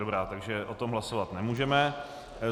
Dobrá, takže o tom hlasovat nemůžeme.